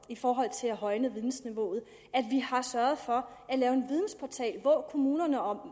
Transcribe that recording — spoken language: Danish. i forhold til at højne vidensniveauet at vi har sørget for at lave en vidensportal hvor kommunerne og